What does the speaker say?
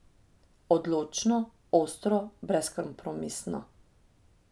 Odločno, ostro, brezkompromisno.